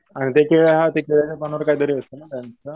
आणि त्यांचे पण काहीतरी असतं ना त्यांचं.